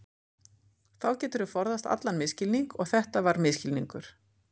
Þá geturðu forðast allan misskilning og þetta var misskilningur.